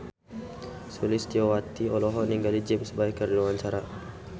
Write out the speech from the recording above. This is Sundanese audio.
Sulistyowati olohok ningali James Bay keur diwawancara